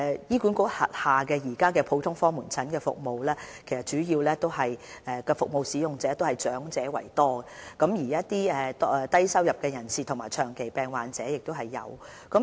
醫管局轄下的普通科門診服務的主要服務使用者以長者居多，當中也有一些低收入人士和長期病患者。